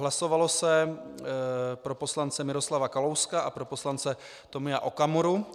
Hlasovalo se pro poslance Miroslava Kalouska a pro poslance Tomia Okamuru.